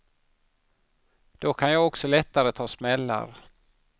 Då kan jag också lättare ta smällar.